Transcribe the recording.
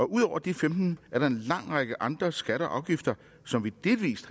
ud over de femten er der en lang række andre skatter og afgifter som vi delvis